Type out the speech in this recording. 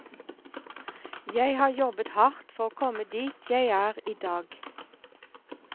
Jeg har jobbet hardt for å komme dit jeg er i dag.